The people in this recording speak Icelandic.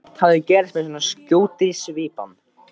Allt hafi gerst með svo skjótri svipan.